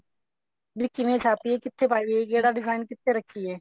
ਵੀ ਕਿਵੇਂ ਛਾਪੀਏ ਵੀ ਕਿੱਥੇ ਪਾਈਏ ਕਿਹੜਾ design ਕਿੱਥੇ ਰੱਖੀਏ